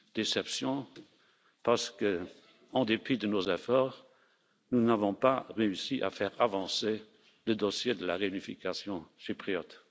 Déceptions parce qu'en dépit de nos efforts, nous n'avons pas réussi à faire avancer le dossier de la réunification chypriote.